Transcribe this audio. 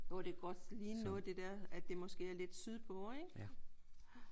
Jo det kunne godt ligne noget det der at det måske er lidt sydpå ik?